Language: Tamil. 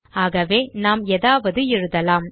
ஆகவே நாம் ஏதாவது எழுதலாம்